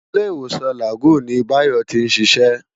Ilé-Iwósán Lágùn ni Bayo ti n siṣè